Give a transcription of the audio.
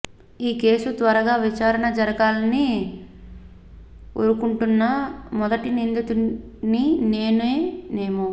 ఈ కేసు త్వరగా విచారణ జరగాలని ఒరుకుంటున్న మొదటి నిందితుడిని నేనే నెమో